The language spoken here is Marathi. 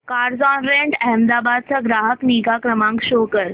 कार्झऑनरेंट अहमदाबाद चा ग्राहक निगा नंबर शो कर